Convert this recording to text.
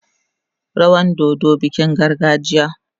Rawan dodo bikin gargajiya.